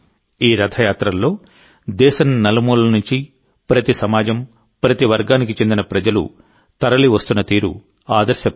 ఈ రథయాత్రల్లో దేశం నలుమూలల నుంచిప్రతి సమాజం ప్రతి వర్గానికి చెందిన ప్రజలు తరలివస్తున్న తీరు ఆదర్శప్రాయం